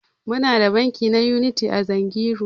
Muna da banki na Unity a Zungeru.